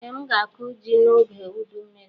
Ee, m ga-akụ ji n'oge ụdụ mmiri.